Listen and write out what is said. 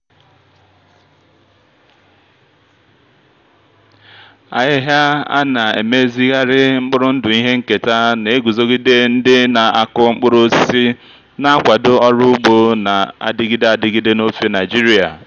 ahịhịa a na-emezigharị mkpụrụ ndụ ihe nketa na-eguzogide ndị na-akụ mkpụrụ osisi na-akwado ọrụ ugbo na-adịgide adịgide n'ofe nigeria.